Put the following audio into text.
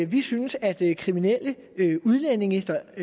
vi synes at kriminelle udlændinge der